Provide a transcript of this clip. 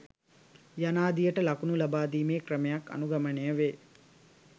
යනාදියට ලකුණු ලබාදීමේ ක්‍රමයන් අනුගමනය වේ.